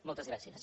moltes gràcies